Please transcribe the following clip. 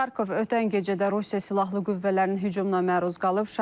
Xarkov ötən gecədə Rusiya Silahlı Qüvvələrinin hücumuna məruz qalıb.